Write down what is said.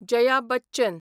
Jaya Bachchan